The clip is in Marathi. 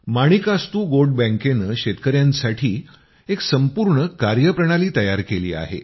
माणिकास्तू गोट बॅंकेनं शेतकयांसाठी एक संपूर्ण कार्यप्रणाली तयार केली आहे